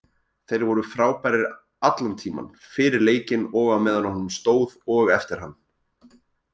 Þeir voru frábærir allan tímann, fyrir leikinn og á meðan honum stóð og eftir hann.